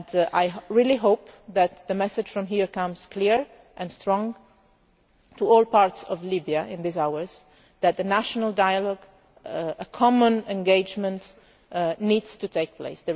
decision. I really hope that the message from here comes clear and strong to all parts of Libya in the coming hours that national dialogue and common engagement need to take